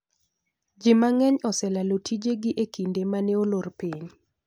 Ji mang'eny oselalo tijegi e kinde ma ne olor piny.